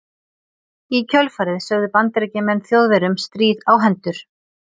Í kjölfarið sögðu Bandaríkjamenn Þjóðverjum stríð á hendur.